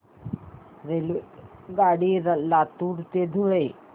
रेल्वेगाडी लातूर ते धुळे